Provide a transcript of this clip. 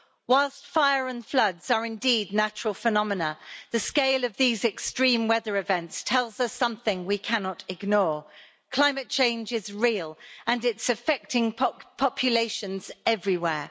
Whilst fire and floods are indeed natural phenomena, the scale of these extreme weather events tells us something we cannot ignore climate change is real, and it's affecting populations everywhere.